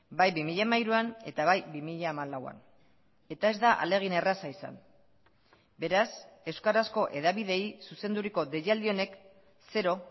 bai bi mila hamairuan eta bai bi mila hamalauan eta ez da ahalegin erraza izan beraz euskarazko hedabideei zuzenduriko deialdi honek zero